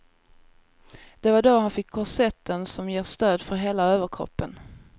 Det var då han fick korsetten som ger stöd för hela överkroppen.